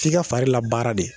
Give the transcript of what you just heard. F'i a fari labaara de